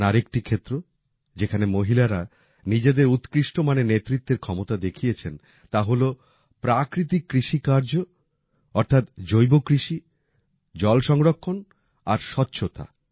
এমন আরেকটি ক্ষেত্র যেখানে মহিলারা নিজেদের উৎকৃষ্ট মানের নেতৃত্বের ক্ষমতা দেখিয়েছেন তা হল প্রাকৃতিক কৃষি কার্য জল সংরক্ষণ আর স্বচ্ছতা